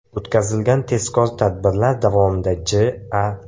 O‘tkazilgan tezkor tadbirdar davomida J.A.